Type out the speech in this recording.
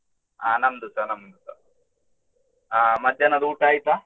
ಅಹ್ ನಮ್ದುಸಾ ನಮ್ದುಸಾ. ಅಹ್ ಮಧ್ಯಾಹ್ನದ ಊಟ ಆಯ್ತಾ?